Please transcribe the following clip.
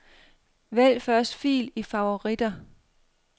Vælg første fil i favoritter.